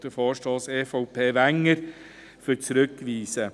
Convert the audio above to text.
Den Vorstoss EVP/Wenger werden wir annehmen.